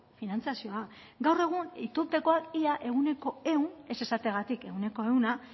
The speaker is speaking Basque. finantzazioa gaur egun itunpekoak ia ehuneko ehun ez esateagatik ehuneko ehuna